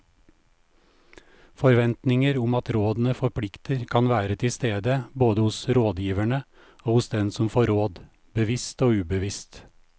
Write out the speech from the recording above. Forventninger om at rådene forplikter kan være til stede både hos rådgiverne og hos den som får råd, bevisst og ubevisst.